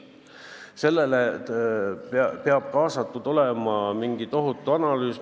Sellega peab kaasnema tohutu analüüs.